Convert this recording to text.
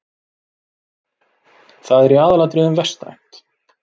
Það er í aðalatriðum vestrænt.